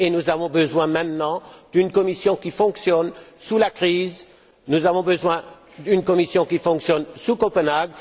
Nous avons besoin maintenant d'une Commission qui fonctionne sous la crise, nous avons besoin d'une Commission qui fonctionne sous Copenhague.